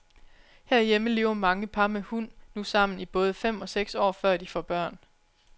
Herhjemme lever mange par med hund nu sammen i både fem og seks år, før de får børn.